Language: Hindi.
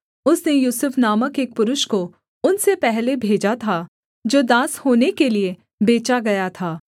उसने यूसुफ नामक एक पुरुष को उनसे पहले भेजा था जो दास होने के लिये बेचा गया था